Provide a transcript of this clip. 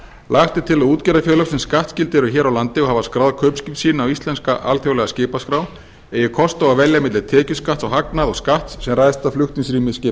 lagt er til að útgerðarfélög sem skattskyld eru hér á landi og hafa skráð kaupskip sín á íslenska alþjóðlega skipaskrá eigi kost á að velja milli tekjuskatts á hagnað og skatts sem ræðst af flutningsrými